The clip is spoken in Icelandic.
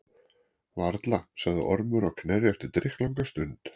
Varla, sagði Ormur á Knerri eftir drykklanga stund.